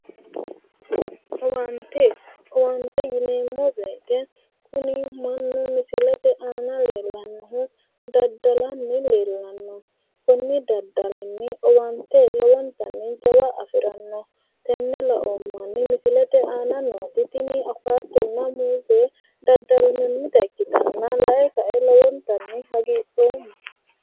Owaante. Owaante yineemmo woyite kuni mannu misilete aana leellannohu daddalanni leellanno. Kunni daddalinni owaante lowontanni jawa afiranno. Tenne laoommahunni misilete aana nooti tini awukaatonna muuze daddallannita ikkitanna lae kae lowontanni hagidhoomma.